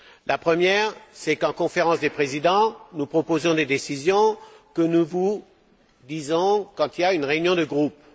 La première, c'est qu'en Conférence des présidents, nous proposons des décisions que nous communiquons quand il y a une réunion de groupe.